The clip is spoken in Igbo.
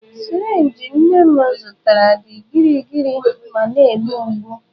sirinji nne m zụtara dị gịrịgịrị ma na-egbu mgbu.